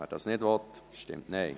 Wer dies nicht will, stimmt Nein.